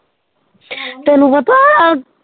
ਤੈਨੂੰ ਪਤਾ।